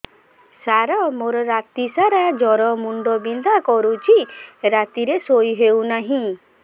ସାର ମୋର ରାତି ସାରା ଜ୍ଵର ମୁଣ୍ଡ ବିନ୍ଧା କରୁଛି ରାତିରେ ଶୋଇ ହେଉ ନାହିଁ